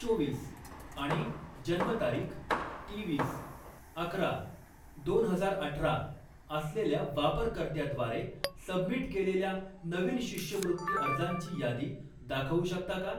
चोवीस आणि जन्मतारीख तेवीस अकरा दोन हजार अठरा असलेल्या वापरकर्त्याद्वारे सबमिट केलेल्या नवीन शिष्यवृत्ती अर्जांची यादी दाखवू शकता का?